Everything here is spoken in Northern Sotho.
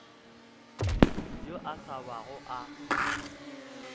yo a sa bago a